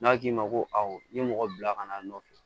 N'a k'i ma ko awɔ n ye mɔgɔ bila ka na a nɔfɛ